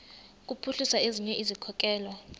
kuphuhlisa ezinye izikhokelo